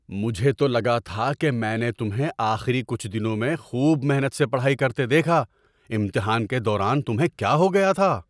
مجھے تو لگا تھا کہ میں نے تمہیں آخری کچھ دنوں میں خوب محنت سے پڑھائی کرتے دیکھا۔ امتحان کے دوران تمہیں کیا ہو گیا تھا؟